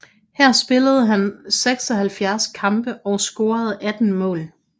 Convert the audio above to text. Her spillede han 76 kampe og scorede 18 mål